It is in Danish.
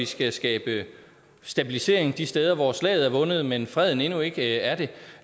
skal skabe stabilisering de steder hvor slaget er vundet men freden endnu ikke er det